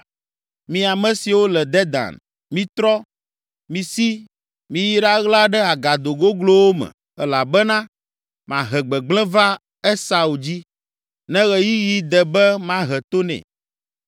Mi ame siwo le Dedan, mitrɔ, misi, miyi ɖaɣla ɖe agado goglowo me, elabena mahe gbegblẽ va Esau dzi, ne ɣeyiɣi de be mahe to nɛ.